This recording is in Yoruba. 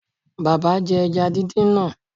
Bàbá jẹ ẹja díndín náà